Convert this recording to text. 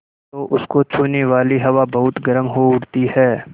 तो उसको छूने वाली हवा बहुत गर्म हो उठती है